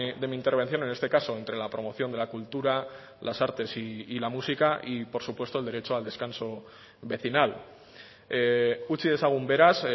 de mi intervención en este caso entre la promoción de la cultura las artes y la música y por supuesto el derecho al descanso vecinal utzi dezagun beraz